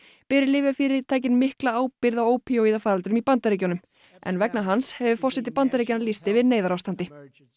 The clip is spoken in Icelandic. beri lyfjafyrirtækin mikla ábyrgð á ópíóíðafaraldrinum í Bandaríkjunum en vegna hans hefur forseti Bandaríkjanna lýst yfir neyðarástandi